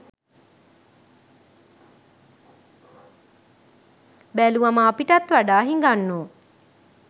බැලුවම අපිටත් වඩා හිඟන්නෝ